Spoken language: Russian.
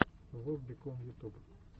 воп бикон ютуб